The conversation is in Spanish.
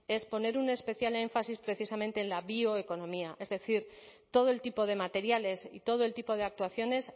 es poner un especial énfasis precisamente en la bioeconomía es decir todo el tipo de materiales y todo el tipo de actuaciones